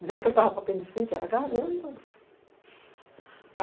Dizendo que ele estava com apendicite, era garganta.